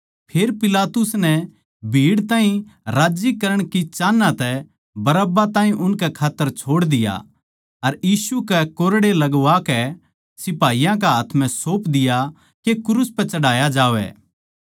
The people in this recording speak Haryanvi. फेर पिलातुस नै भीड़ ताहीं राज्जी करण की चाहन्ना तै ताहीं उनकै खात्तर छोड़ दिया अर यीशु कै कोरड़े लगवाकै सिपाहियाँ के हाथ म्ह सौप दिया के क्रूस पै चढ़ाया जावै